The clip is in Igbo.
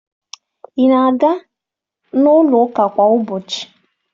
Ị na-aga n'ụlọụka kwa ụbọchi?